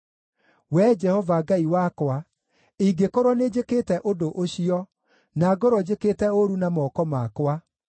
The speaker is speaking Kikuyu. Wee Jehova Ngai wakwa, ingĩkorwo nĩnjĩkĩte ũndũ ũcio, na ngorwo njĩkĩte ũũru na moko makwa,